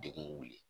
Degun wuli